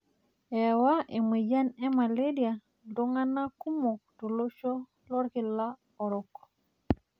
Ewa emoyian e maleria iltung'ana kumok tolosho lolkila orok.